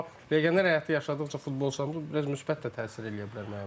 amma legioner həyatı yaşadıqca futbolçumuz biraz müsbət də təsir eləyə bilər mənə.